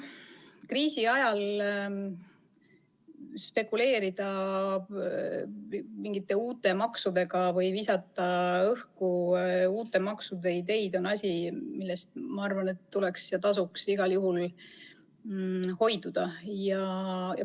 Kriisi ajal spekuleerida mingite uute maksudega või visata õhku uute maksude ideid on asi, millest, ma arvan, tasuks igal juhul hoiduda.